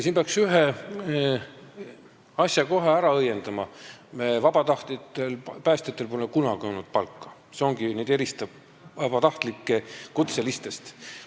Siin peaks kohe ära õiendama ühe asja: vabatahtlikel päästjatel pole kunagi olnud palka, see eristabki vabatahtlikke kutselistest.